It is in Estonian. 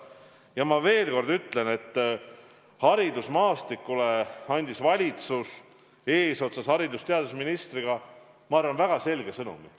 Ja ma veel kord ütlen, et haridusmaastikule saatis valitsus eesotsas haridus- ja teadusministriga, ma arvan, väga selge sõnumi.